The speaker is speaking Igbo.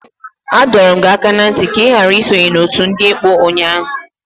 Adọrum gi aka na nti ka i ghara isonye n'otu ndi ekpo unyanya!